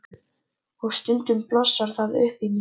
Og stundum blossar það upp í mér.